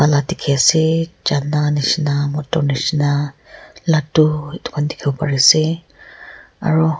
la dikhi ase chana nishina moto nishina ladu edu khan dikhiwo pariase aro.